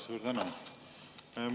Suur tänu!